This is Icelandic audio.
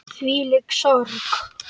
Hvílík sorg.